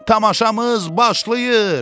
Tamaşamız başlayır.